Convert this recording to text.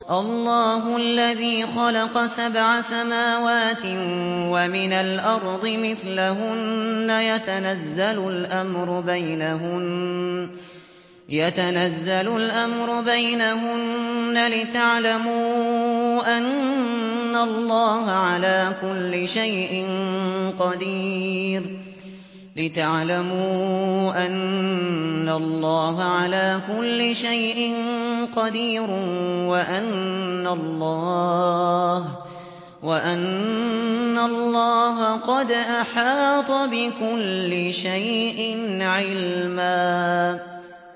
اللَّهُ الَّذِي خَلَقَ سَبْعَ سَمَاوَاتٍ وَمِنَ الْأَرْضِ مِثْلَهُنَّ يَتَنَزَّلُ الْأَمْرُ بَيْنَهُنَّ لِتَعْلَمُوا أَنَّ اللَّهَ عَلَىٰ كُلِّ شَيْءٍ قَدِيرٌ وَأَنَّ اللَّهَ قَدْ أَحَاطَ بِكُلِّ شَيْءٍ عِلْمًا